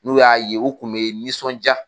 N'u y'a ye u kun bɛ nisɔnja.